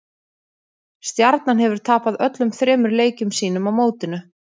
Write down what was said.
Stjarnan hefur tapað öllum þremur leikjum sínum á mótinu.